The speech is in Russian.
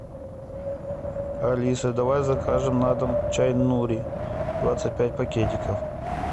алиса давай закажем на дом чай нури двадцать пять пакетиков